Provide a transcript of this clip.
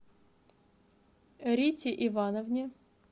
рите ивановне